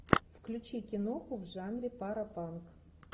включи киноху в жанре парапанк